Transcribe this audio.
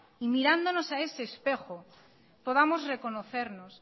y mirándonos a ese espejo podamos reconocernos